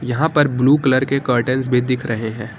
यहां पर blue colour के कर्टेंस भी दिख रहे हैं।